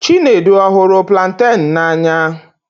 Chinedu ọ̀ hụrụ planten n'anya?